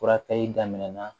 Furakɛli daminɛna